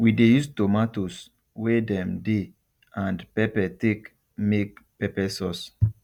we de use tomatoes wey dem dey and pepper take make pepper sauce